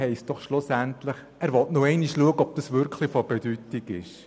» heisst schlussendlich, prüfen, ob dies tatsächlich von Bedeutung ist.